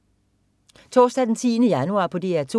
Torsdag den 10. januar - DR 2: